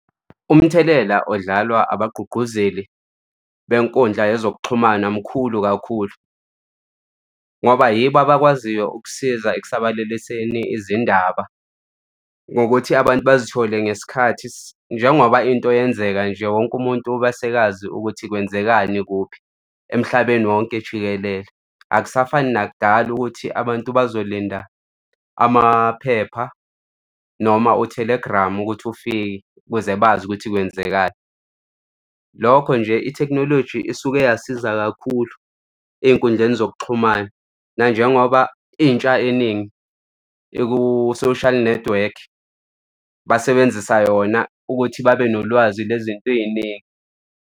Umthelela odlalwa abagqugquzeli benkundla yezokuxhumana mkhulu kakhulu ngoba yibo abakwaziyo ukusiza ekusabalaliseni izindaba ngokuthi abantu bazithole ngesikhathi. Njengoba into yenzeka nje wonke umuntu abasekazi ukuthi kwenzekani kuphi emhlabeni wonke jikelele. Akusafani nakudala ukuthi abantu bazolinda amaphepha noma u-telegram ukuthi ufike kuze bazi ukuthi kwenzekani. Lokho nje i-technology isuke yasiza kakhulu ey'nkundleni zokuxhumana nanjengoba intsha eningi iku-social network, basebenzisa yona ukuthi babe nolwazi lwezinto ey'ningi.